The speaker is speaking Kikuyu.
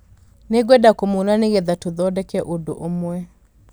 Nĩngwenda kũmuona nĩgetha tũthondeke ũndũ ũmwe